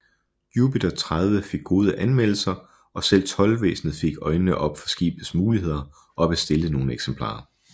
Jupiter 30 fik gode anmeldelser og selv Toldvæsenet fik øjnene op for skibets muligheder og bestilte nogle eksemplarer